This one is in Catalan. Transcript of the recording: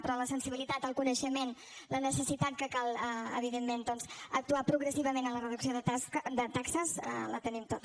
però la sensibilitat el coneixement la necessitat que cal evidentment doncs actuar progressivament en la reducció de taxes la tenim tota